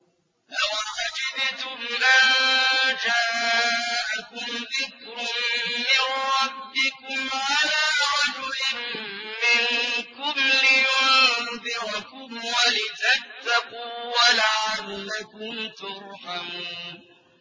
أَوَعَجِبْتُمْ أَن جَاءَكُمْ ذِكْرٌ مِّن رَّبِّكُمْ عَلَىٰ رَجُلٍ مِّنكُمْ لِيُنذِرَكُمْ وَلِتَتَّقُوا وَلَعَلَّكُمْ تُرْحَمُونَ